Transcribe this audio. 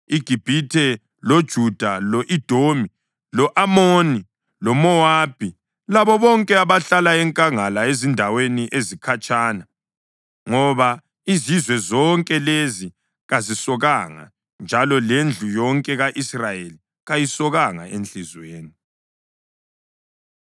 iGibhithe, loJuda, lo-Edomi, lo-Amoni loMowabi labo bonke abahlala enkangala ezindaweni ezikhatshana. Ngoba izizwe zonke lezi kazisokanga, njalo lendlu yonke ka-Israyeli kayisokanga enhliziyweni.”